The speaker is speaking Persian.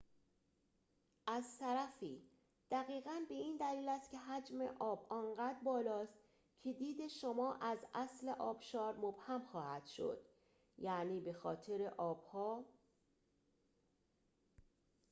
از طرفی دقیقاً به این دلیل است که حجم آب آنقدر بالاست که دید شما از اصل آبشار مبهم خواهد شد-یعنی به‌خاطر آب‌ها